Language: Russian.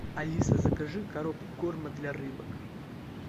алиса закажи коробку корма для рыбок